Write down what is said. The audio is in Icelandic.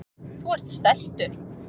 Þú ert stæltur.